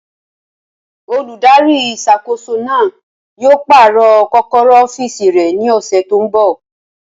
Olùdarí ìṣàkóso náà yóò pàrọ̀ kọ́kọ́rọ́ ọ́fìsì rẹ̀ ní ọ̀sẹ̀ tó n bọ̀